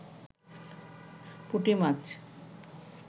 পুটি মাছ